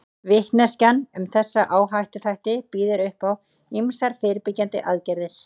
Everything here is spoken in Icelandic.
Vitneskjan um þessa áhættuþætti býður upp á ýmsar fyrirbyggjandi aðgerðir.